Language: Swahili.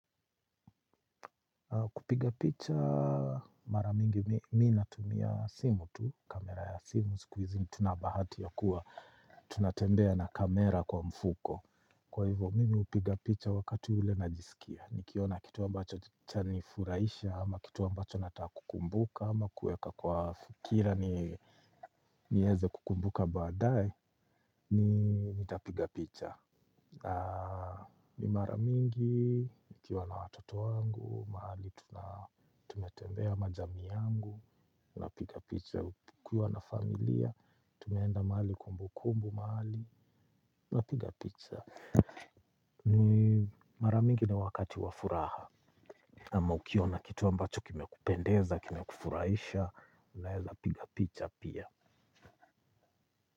Kupiga picha mara mingi, mi natumia simu tu, kamera ya simu, ziku hizi tuna bahati ya kuwa, tunatembea na kamera kwa mfuko. Kwa hivyo, mimi hupiga picha wakati ule na jisikia, nikiona kitu ambacho cha nifuraisha, ama kitu ambacho nataka kukumbuka, ama kuweka kwa fikira niweze kukumbuka baadae, nitapiga picha. Ni mara mingi, nikiwa na watoto wangu, mahali tumetembea na jamii yangu, tuna piga picha kukiwa na familia, tumeenda mahali kumbukumbu mahali, tuna piga picha. Ni mara mingi ni wakati wa furaha. Ama ukiona kitu ambacho kime kupendeza, kime kufurahisha, unaeza piga picha pia.